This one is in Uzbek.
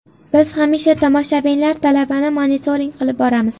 Biz hamisha tomoshabinlar talabini monitoring qilib boramiz.